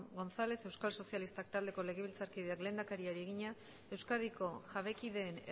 gonzález euskal sozialistak taldeko legebiltzarkideak lehendakariari egina euskadiko jabekideen